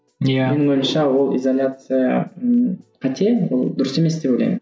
иә менің ойымша ол изоляция ы қате ол дұрыс емес деп ойлаймын